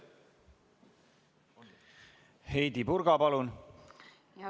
Heidy Purga, palun!